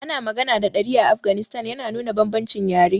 Ana magana da Dari a Afghanistan, yana nuna bambancin yare.